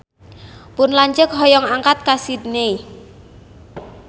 Pun lanceuk hoyong angkat ka Sydney